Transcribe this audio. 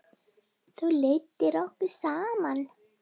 Þú leiddir okkur saman.